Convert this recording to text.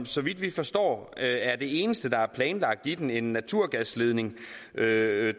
så vidt vi forstår er det eneste der er planlagt i den en naturgasledning da